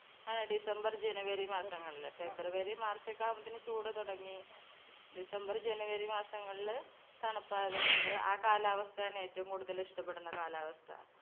ആ december january മാസങ്ങളില് february march ഒക്കെ ആവുമ്പത്തെന്ന് ചൂട് തുടങ്ങി. december january മാസങ്ങളില് തണുപ്പായതു കൊണ്ട് ആ കാലാവസ്ഥയാണ് ഏറ്റവും കൂടുതൽ ഇഷ്ടപ്പെടുന്ന കാലാവസ്‌ഥ.